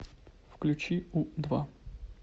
включи у два